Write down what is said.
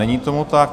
Není tomu tak.